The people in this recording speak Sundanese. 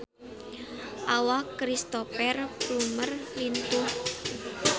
Awak Cristhoper Plumer lintuh